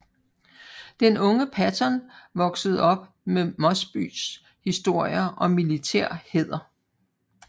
Den unge Patton voksede op med Mosbys historier om militær hæder